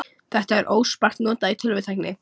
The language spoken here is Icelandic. Þetta er óspart notað í tölvutækni.